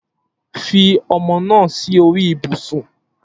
Fi ọmọ naa si ori ibusun